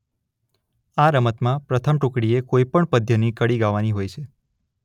આ રમતમાં પ્રથમ ટુકડીએ કોઇપણ પદ્યની કડી ગાવાની હોય છે.